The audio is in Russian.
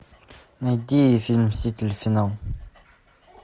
найди фильм мстители финал